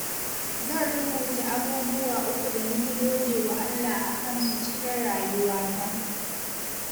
Zan rubuta abubuwa uku da na fi gode wa Allah a kansu cikin rayuwata.